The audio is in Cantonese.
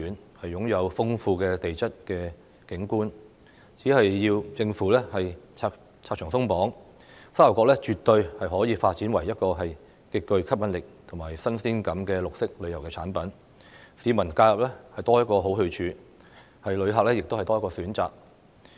該處擁有豐富的地質景觀，政府只要拆牆鬆綁，沙頭角絕對可以發展為一個極具吸引力及新鮮感的綠色旅遊產品，讓市民在假日有多一個好去處，旅客亦有多一個選擇。